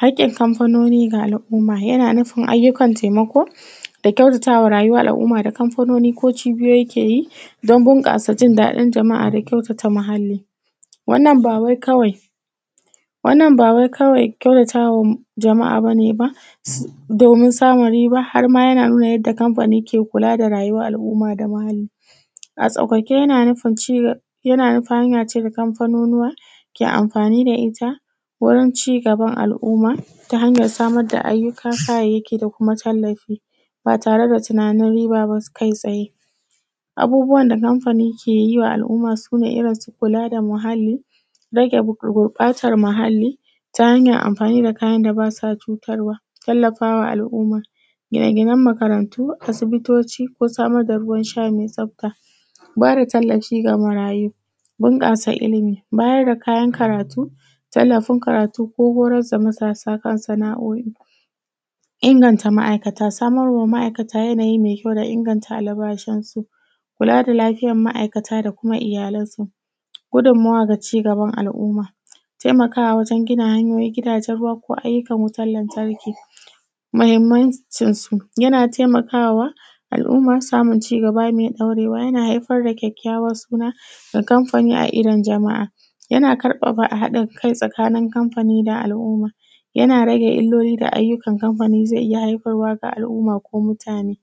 Haƙƙin kanfanoni ga al’uma yana nufin hanyoyin taimako da kyautatawa da kanfononi ko cibiyoyi ke yi don bunƙasa jin daɗin jama’a da kyautata muhalli, wannan ba wai kawai wannna ba wai kawai kyautata wa jama’a ba ne ba domin samun riba har ma yana nuna yanda kamfanin ke da al’umma da muhalli a sauƙaƙe. Yana nufin, yana nufin hanya ce da kanfanonuwa ke amfani da ita wurin cigaban al’umma ta hanyan samar da ayyuka, kayayyaki da tallafi ba tare da tunanin riba ba kai tsaye. Abubuwan da kanfani ke yi wa al’umma su ne irin su kula da muhalli, rage gurɓatan muhalli ta hanyan amfani da kayan da ba sa cutar wa, tallafa wa al’umma, gina makarantu, asibitoci ko samar da ruwan sha me tsafta, ba da tallafi da marayu, bunƙasa ilimi, bayar da kayan karatu, tallafin karatu ko horar da mutane akan sana’o’I, inganta ma’aikata, samar ma ma’aikata yanayi me kyau da inganta albashin su. Kula da lafiyan ma’aikata da kuma iyalansu, gudunmawa da cigaban al’umma, taimakawa wajen gina gidajen ruwa ko ayyukan wutan lantarki. Mahinmncin su yana taimakawa al’umma samun cigaba mai ɗaurewa, haifar da kyakyawan suna da kanfani, a idon jama’a, yana ƙarfafa haɗin kai tsakanin kanfani da al’umma, yana rage illoli da ayyukan kanfani ze iya haifarwa wa al’umma ko mutane,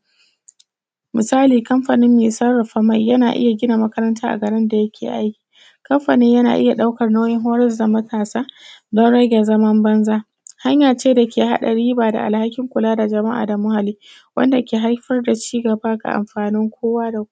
musali kanfanin me sarrafa mai yana iya gina makaranta a garin da yake aiki, kanfanin yana iya ɗaukan nauyin horas da matasa don rage zaman banza, hanya ce da ke haɗa riba da alhakin kula da jama’a da muhalli wanda ke haifar da cigaba da amfanin kowa da kowa.